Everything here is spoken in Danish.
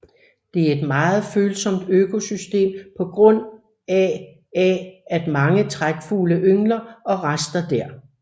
Det er et meget følsomt økosystem på grund af af af at mange trækfugle yngler og raster der